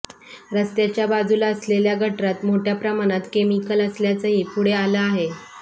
रस्त्याच्या बाजूला असलेल्या गटारात मोठ्या प्रमाणात केमिकल असल्याचंही पुढे आलं आहे